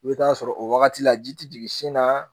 I bɛ taa sɔrɔ o wagati la ji tɛ jigin sin na